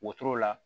Wotoro la